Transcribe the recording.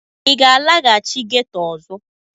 Ị ga-alaghachi ghetọ ọzọ?